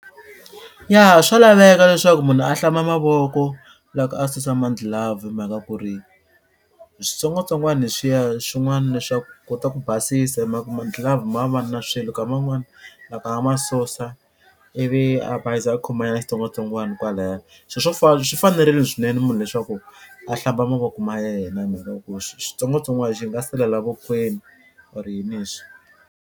Ya swa laveka leswaku munhu a hlamba mavoko loko a susa madlhilavhu hi mhaka ku ri switsongwatsongwana leswiya swin'wani leswaku kota ku basisa hi mhaka ku mandlilavhu ma va na swilo nkama wun'wani loko a ma susa i vi a bayiza a khoma nyana xitsongwatsongwana kwalaya swi swo fana swi fanerile swinene munhu leswaku a hlamba mavoko ma yena hi mhaka ku xitsongwatsongwana xi nga sala la vokweni or .